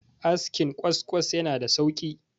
askin kwaskwas yana da sauki